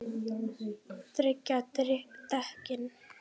Tryggja dekkin?